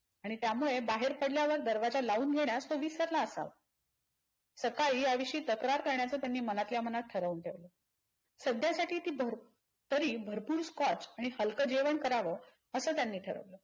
आणि त्यामुळे बाहेर पडल्यावर दरवाजा लावून घेण्यात तो विसरला असावा. सकाळी यावेषयी तक्रार करण्याचे त्यांनी मनातल्या मनात ठरवून ठेवल. सध्यासाठी ती भर तरी भरपूर स्कॉच आणि हलक जेवण कराव असं त्यांनी ठरवलं.